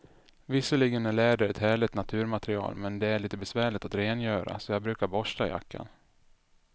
Visserligen är läder ett härligt naturmaterial, men det är lite besvärligt att rengöra, så jag brukar borsta jackan.